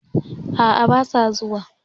A'a basa zuwa.